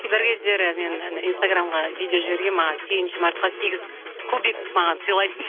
бір кездері мен анадай инстаграмға видео жібергенмін маған сегізінші мартқа сегіз кубик маған сыйлайды